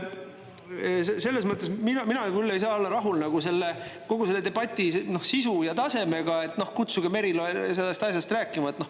Selles mõttes ei saa mina küll olla rahul selle debati sisu ja tasemega, et kutsuge Merilo sellest asjast rääkima.